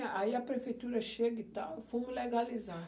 Aí a prefeitura chega e tal, fomo legalizar.